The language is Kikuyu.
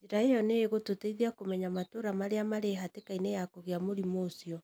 Njĩra ĩyo nĩ ĩgũtũteithia kũmenya matũra marĩa mari hatĩkainĩ ya kũgia mũrimo ucio.